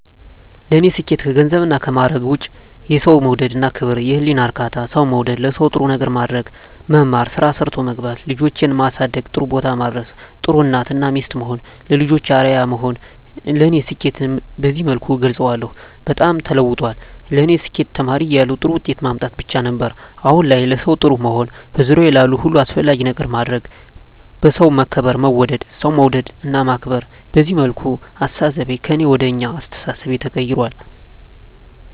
ለኔ ስኬት ከገንዘብና ከማረግ ውጭ፦ የሠው መውደድ እና ክብር፤ የህሊና እርካታ፤ ሠው መውደድ፤ ለሠው ጥሩ ነገር ማድረግ፤ መማር፤ ስራ ሠርቶ መግባት፤ ልጆቼን ማሠደግ ጥሩቦታ ማድረስ፤ ጥሩ እናት እና ሚስት መሆን፤ ለልጆቼ አርያ መሆን ለኔ ስኬትን በዚህ መልኩ እገልፀዋለሁ። በጣም ተለውጧል ለኔ ስኬት ተማሪ እያለሁ ጥሩ ውጤት ማምጣት ብቻ ነበር። አሁን ላይ ለሠው ጥሩ መሆን፤ በዙሪያዬ ላሉ ሁሉ አስፈላጊ ነገር ማድረግ፤ በሠው መከበር መወደድ፤ ሠው መውደድ እና ማክበር፤ በዚህ መልኩ አስተሣሠቤ ከእኔ ወደ አኛ አስተሣሠቤ ተቀይራል።